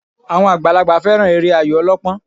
Àwọn àgbàlagbà fẹ́ràn eré Ayò ọlọ́pọ́n